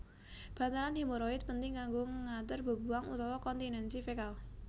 Bantalan hemoroid penting kanggo ngatur bebuwang utawa kontinensi fekal